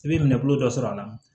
I bɛ minɛ bolo dɔ sɔrɔ a la